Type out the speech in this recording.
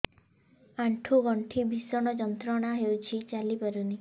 ଆଣ୍ଠୁ ଗଣ୍ଠି ଭିଷଣ ଯନ୍ତ୍ରଣା ହଉଛି ଚାଲି ପାରୁନି